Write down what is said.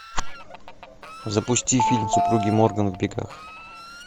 запусти фильм супруги морган в бегах